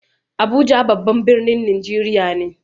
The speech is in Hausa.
Abuja babban birnin Najeriya ne.